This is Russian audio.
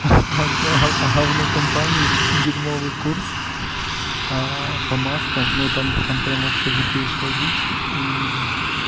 га га говно компании дерьмовый курс а по маскам но там прям вообще дичайшая дичь и